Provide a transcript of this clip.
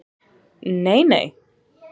Nei, nei?